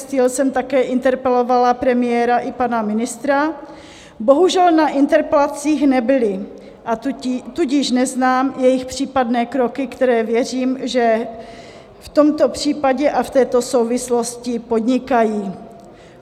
Steel jsem také interpelovala premiéra i pana ministra, bohužel na interpelacích nebyli, a tudíž neznám jejich případné kroky, které věřím, že v tomto případě a v této souvislosti podnikají.